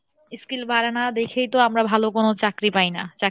skill বাড়ে না দেখেই তো আমরা ভালো কোনো চাকরি পাই না